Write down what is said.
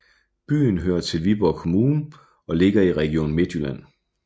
Byen hører til Viborg Kommune og ligger i Region Midtjylland